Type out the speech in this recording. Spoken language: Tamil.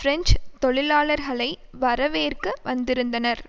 பிரெஞ்சு தொழிலாளர்களை வரவேற்க வந்திருந்தனர்